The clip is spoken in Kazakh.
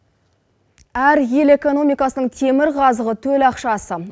әр ел экономикасының темір қазығы төл ақшасы